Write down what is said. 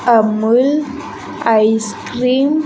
Amul ice cream .